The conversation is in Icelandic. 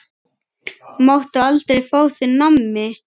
Máttu aldrei fá þér nammi?